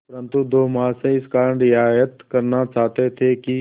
परंतु दो महाशय इस कारण रियायत करना चाहते थे कि